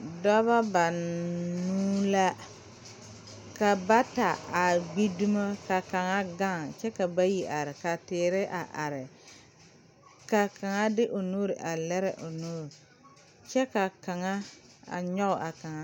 Dɔbɔ banuu la ka bata a gbi dumo ka kaŋa gaŋ kyɛ ka bayi are ka teere a are ka kaŋa de o nuure a lire o nu kyɛ ka kaŋa nyoge a kaŋ.